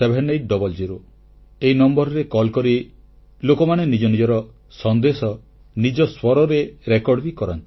ଏ ନମ୍ବରରେ କଲ୍ କରି ଲୋକମାନେ ନିଜ ନିଜର ସନ୍ଦେଶ ନିଜ ସ୍ୱରରେ ରେକର୍ଡ ବି କରାନ୍ତି